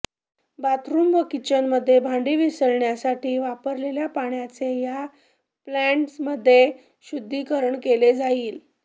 bathroom व किचनमध्ये भांडी विसळण्यासाठी वापरलेल्या पाण्याचे या प्लॅन्टमध्ये शुद्धीकरण केले जाईल